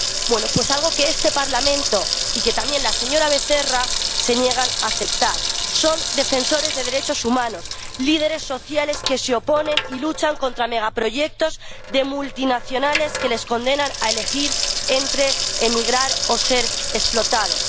Bueno, pues algo que este Parlamento y que también la señora Becerra se niegan a aceptar son defensores de derechos humanos, líderes sociales que se oponen y luchan contra megaproyectos de multinacionales que les condenan a elegir entre emigrar o ser explotados.